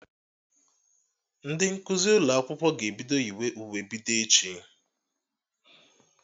Ndị nkụzi ụlọ akwụkwọ ga-ebido yiwe uwe bido echi